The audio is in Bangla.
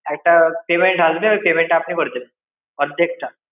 একটা payment আসবে, ওই payment টা আপনি করে দেবেন. অর্ধেকটা।